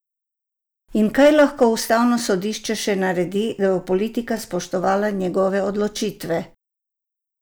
In kaj lahko ustavno sodišče še naredi, da bo politika spoštovala njegove odločitve?